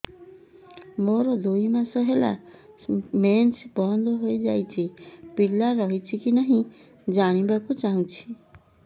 ମୋର ଦୁଇ ମାସ ହେଲା ମେନ୍ସ ବନ୍ଦ ହେଇ ଯାଇଛି ପିଲା ରହିଛି କି ନାହିଁ ଜାଣିବା କୁ ଚାହୁଁଛି